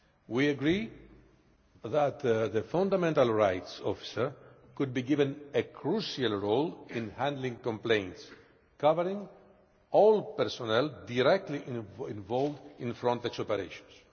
We agree that the fundamental rights officer could be given a crucial role in handling complaints covering all personnel directly involved in Frontex operations.